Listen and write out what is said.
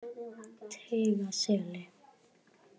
Teigaseli